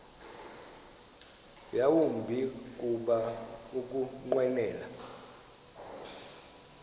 yawumbi kuba ukunqwenela